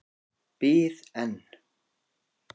Bið en.